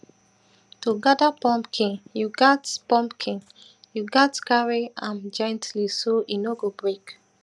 to gather pumpkin you gatz pumpkin you gatz carry am gently so e no go break